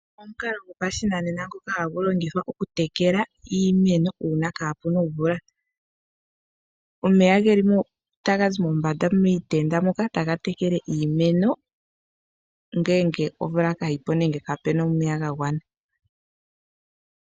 Omukalo gwopashinanena ngoka hagu longithwa oku tekela iimeno, uuna ka pu na omvula. Omeya taga zi mombanda miitenda moka taga tekele iimeno, uuna omvula kaa yi ko nenge kaa pe na omeya ga gwana.